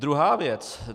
Druhá věc.